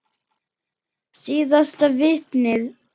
Síðasta vitnið.